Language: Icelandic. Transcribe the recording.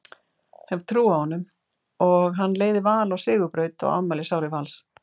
Hef trú á honum og hann leiði Val á sigurbraut á afmælisári Vals.